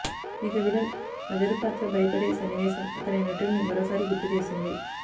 ఇక విలన్ అజరు పాత్ర భయపడే సన్నివేశం అతని నటుడ్ని మరోసారి గుర్తు చేసింది